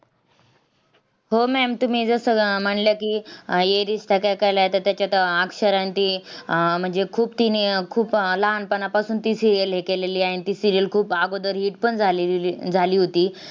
आपल्याला बघा अ गोष्टी अशा असतात की mbsc मधून जेव्हा आपण loan घेतो तेव्हा ते एवढा आपण म्हणजे हे करत नाही म्हजे आपल्याला थोडक्यात माणूस काय विचार करतो की हे loan जर आपल्याकडन वेळेत pay नाही झाल